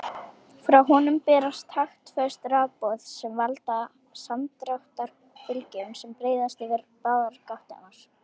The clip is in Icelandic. Frá honum berast taktföst rafboð sem valda samdráttarbylgjum sem breiðast yfir báðar gáttirnar.